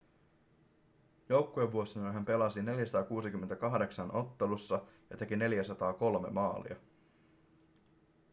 joukkuevuosinaan hän pelasi 468 ottelussa ja teki 403 maalia